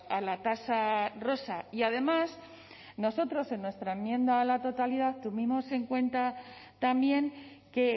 a la tasa rosa y además nosotros en nuestra enmienda a la totalidad tuvimos en cuenta también que